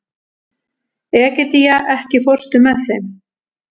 Egedía, ekki fórstu með þeim?